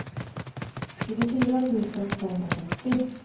tjugofyra tusen tvåhundrafyrtio